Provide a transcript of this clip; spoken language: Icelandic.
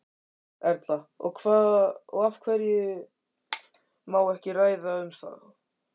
Erla: Og af hverju má ekki ræða um þá?